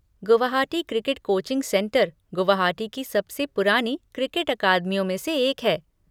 Guwahati cricket coaching centre Guwahati की सबसे पुरानी क्रिकेट अकादमियों में से एक है।